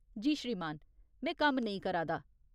जी श्रीमान। में कम्म नेईं करा दा ।